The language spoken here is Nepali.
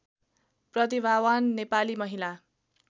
प्रतिभावान नेपाली महिला